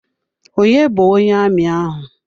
Onye bu onye amị ahụ?